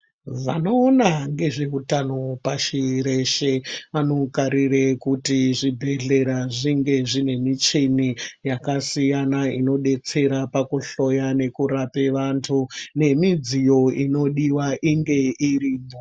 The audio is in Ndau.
Vanoona ngezveutano pashi reshe vanokarire kuti zvibhedhlera zvinge zvine michini yakasiyana inodetsera pakuhloya nepakurape vantu nemidziyo inodiwa inge iripo.